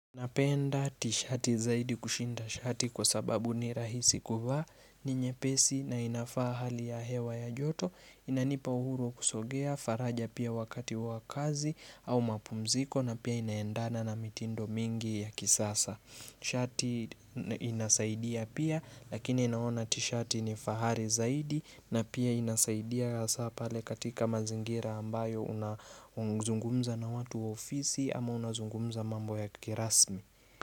Napenda tishati zaidi kushinda shati kwa sababu ni rahisi kuvaa ni nyepesi na inafaa hali ya hewa ya joto Inanipa uhuru wa kusogea faraja pia wakati wa kazi au mapumziko na pia inaendana na mitindo mingi ya kisasa Shati inasaidia pia lakini naona tishati ni fahari zaidi na pia inasaidia ya hasa pale katika mazingira ambayo unazungumza na watu ofisi ama unazungumza mambo ya kirasmi.